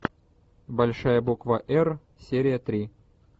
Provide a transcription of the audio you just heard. большая буква эр серия три